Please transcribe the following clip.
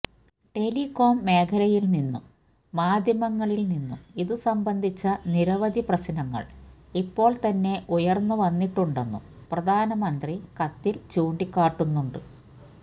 telecom മേഖലയില് നിന്നും മാധ്യമങ്ങളില് നിന്നും ഇതുസംബന്ധിച്ച നിരവധി പ്രശ്നങ്ങള് ഇപ്പോള് തന്നെ ഉയര്ന്ന് വന്നിട്ടുണ്ടെന്നും പ്രധാനമന്ത്രി കത്തില് ചൂണ്ടികാട്ടുന്നുണ്ട്